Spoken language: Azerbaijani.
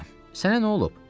Sənə nə olub?